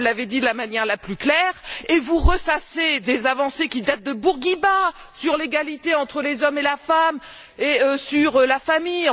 Tout cela, vous l'avez dit de la manière la plus claire, et vous ressassez des avancées qui datent de Bourguiba sur l'égalité entre les hommes et les femmes et sur la famille.